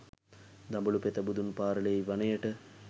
දඹුලු පෙත බුදුන් පාරළෙයි වනයට